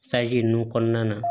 ninnu kɔnɔna na